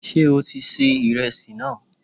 Sé o ti ṣe ìresì náà?